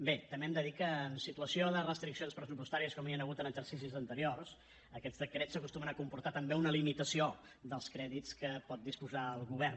bé també hem de dir que en situació de restriccions pressupostàries com hi han hagut en exercicis anteriors aquests decrets acostumen a comportar també una limitació dels crèdits de què pot disposar el govern